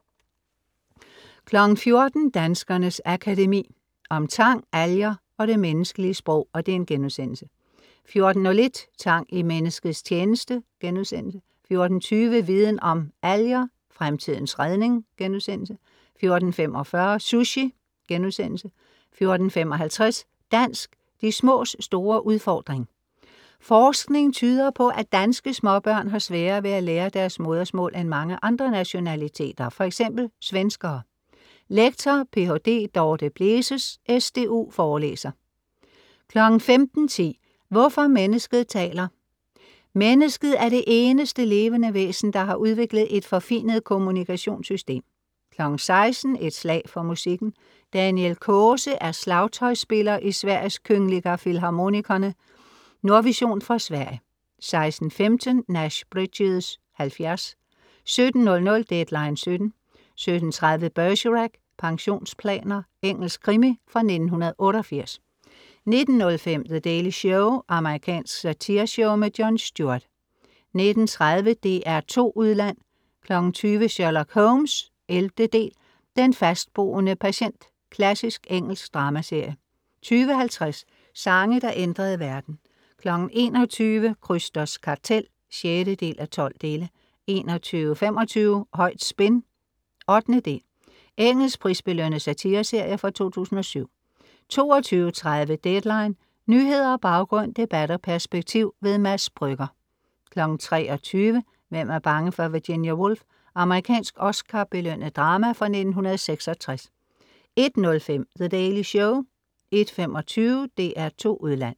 14:00 Danskernes Akademi. Om tang, alger & det menneskelige sprog* 14:01 Tang i menneskets tjeneste* 14:20 Viden Om: Alger, fremtidens redning?* 14:45 Sushi* 14:55 Dansk, de smås store udfordring! Forskning tyder på, at danske småbørn har sværere ved at lære deres modersmål end mange andre nationaliteter fx svenskere. Lektor, Ph.d. Dorthe Bleses, SDU, forelæser 15:10 Hvorfor mennesket taler. Mennesket er det eneste levende væsen, der har udviklet et forfinet kommunikationssystem 16:00 Et slag for musikken. Daniel Kåse er slagtøjsspiller i Sveriges Kungliga Filharmonikerna. Nordvision fra Sverige 16:15 Nash Bridges (70) 17:00 Deadline 17:00 17:30 Bergerac: Pensionsplaner. Engelsk krimi fra 1988 19:05 The Daily Show amerikansk satireshow. Jon Stewart 19:30 DR2 Udland 20:00 Sherlock Holmes (11) "Den fastboende patient" Klassisk engelsk dramaserie 20:50 Sange der ændrede verden 21:00 Krysters Kartel (6:12) 21:25 Højt spin (8) Engelsk prisbelønnet satireserie fra 2007 22:30 Deadline. Nyheder, baggrund, debat og perspektiv. Mads Brügger 23:00 Hvem er bange for Virginia Woolf? Amerikansk Oscar-belønnet drama fra 1966 01:05 The Daily Show 01:25 DR2 Udland